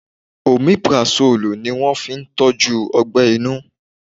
Omeparasọ́lù ni wón fi ń tọ́jú Ọgbẹ́ inú.